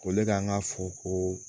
Ko ne ka n ka fo ko